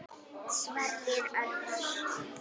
Sverrir Örvar.